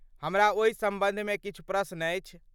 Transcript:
हमरा ओहि सम्बन्धमे किछु प्रश्न अछि।